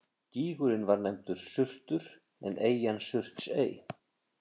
Gígurinn var nefndur Surtur en eyjan Surtsey.